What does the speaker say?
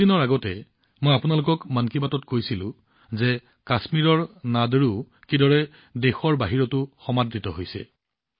কিছুদিনৰ আগতে মই আপোনালোকক মন কী বাতত কৈছিলোঁ যে কাশ্মীৰৰ নাদৰুক দেশৰ বাহিৰতো কেনেদৰে ভাল পোৱা হৈছে